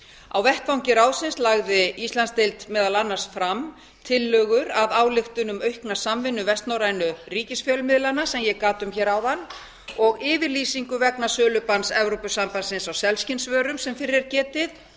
á vettvangi ráðsins lagði íslandsdeild meðal annars fram tillögur að ályktun um aukna samvinnu vestnorrænu ríkisfjölmiðlanna sem ég gat um hér áðan og yfirlýsingu vegna sölubanns evrópusambandsins á selskinnsvörum sem fyrr er getið